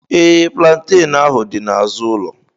Ee, plantain ahu dị n'azụ ụlọ.